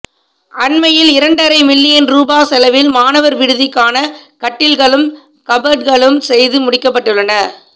அண்மையில் இரண்டரை மில்லியன் ரூபா செலவில் மாணவர் விடுதிக்கான கட்டில்களும் கபட்களும் செய்து முடிக்கப்பட்டுள்ளன